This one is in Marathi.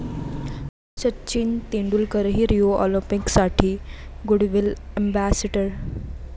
सचिन तेंडुलकरही रिओ ऑलिम्पिकसाठी गुडविल अॅम्बेसेडर